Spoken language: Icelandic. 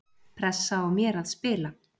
Pressa á mér að spila